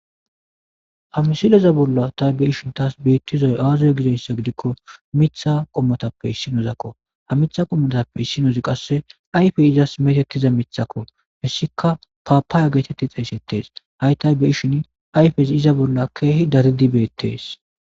ha misileza bolla taybe ishin taas biittizoy aazoy gideyssa gidikko mitha qommotappe issinozakko ha mitha qommotappe issinozi qasse ayfey izas metettiza mithakko missika paapaya geetetti xeyssettees hay taybe ishin ayfesi iza bolla keehi daridibeettees.